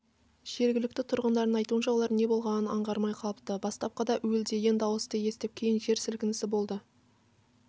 жергілікті тұрғындардың айтуынша олар не болғанын аңғармай қалыпты бастапқыда уілдеген дауысты естіп кейін жер сілкінісі болды